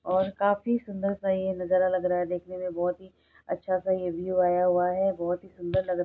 और काफी सुंदर सा ये नजारा लग रहा है। देखने मे बहुत ही अच्छा स ये व्यू आया हुआ है। बहुत ही सुंदर लग रहा--